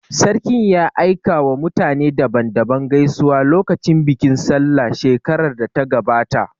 Sarkin ya aika wa mutane daban daban gaisuwa lokacin bikin sallah shekarar da ta gabata